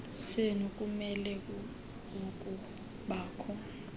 senu kumele ukubakho